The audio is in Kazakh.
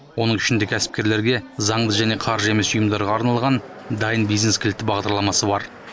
оның ішінде кәсіпкерлерге заңды және қаржы емес ұйымдарға арналған дайын бизнес кілті бағдарламасы бар